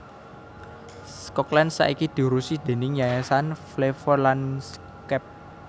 Schokland saiki diurusi déning yayasan Flevolandschap